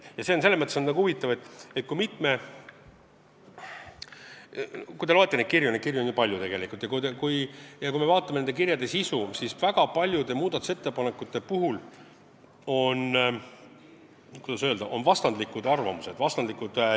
Asi on selles mõttes huvitav, et kui me loeme neid kirju – neid on tegelikult palju – ja vaatame nende sisu, siis näeme, et väga paljude muudatusettepanekute kohta on vastandlikud arvamused.